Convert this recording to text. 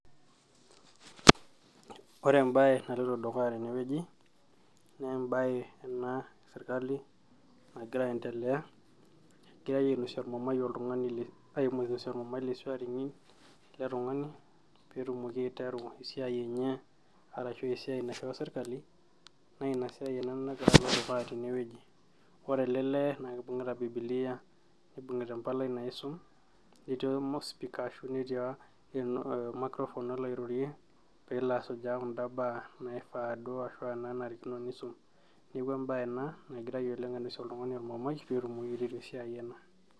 Ore embaye naloito dukuya tenewueji naa embaye ena esirkali nagira aendelea egiray ainosie ormumai oltung'ani, ainosie ormumai le swearing in ele tung'ani peetumoki aiteru esiai enye arashu esiai naishoo sirkali naa ina siai ina nagira alo dukuya tenewueji ore ele lee naa kibung'ita bibilia nibungi'ta empalai naisum netii ospika ashu netii or microphone olo airorie peelo asujaa kunda baa naifaa duo ashua naanarikino nisum neeku embaye ena nagiray oleng ainosie oltung'ani ormumai peetumoki aiteru esiai ena